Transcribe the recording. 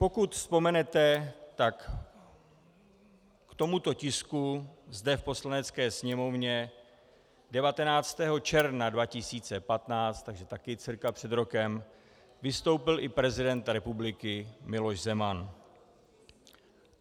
Pokud vzpomenete, tak k tomuto tisku zde v Poslanecké sněmovně 19. června 2015, takže taky cca před rokem, vystoupil i prezident republiky Miloš Zeman.